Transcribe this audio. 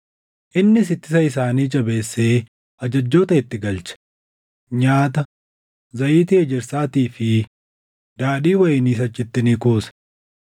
Innis ittisa isaanii jajjabeessee ajajjoota itti galche; nyaata, zayitii ejersaatii fi daadhii wayiniis achitti ni kuuse.